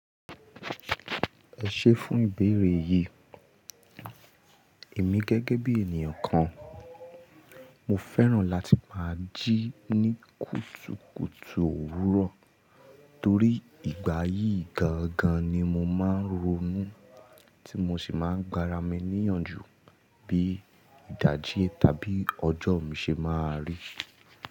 Ẹ ṣé fún ìbéèrè yìí, èmi gẹ́gẹ́ bí ènìyàn kan, mo fẹ́ràn láti máa jí ní kùtùkùtù òwúrọ̀ torí ìgbà yìí gangan ni mo máa ń ronú tí mo sì máa ń gba ara mi níyànjú bí ìdájí tàbí ọjọ́ mi ṣe máa rí.